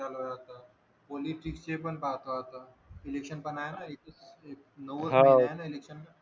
election पण हाय ना नव्वद ला आहे ना इलेकशन